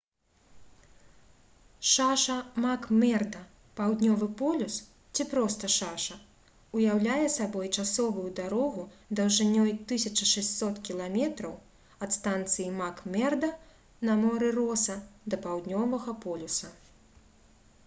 шаша мак-мерда — паўднёвы полюс ці проста шаша уяўляе сабой часовую дарогу даўжынёй 1600 км ад станцыі мак-мерда на моры роса да паўднёвага полюса